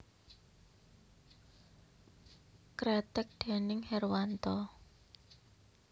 Kreteg déning Herwanto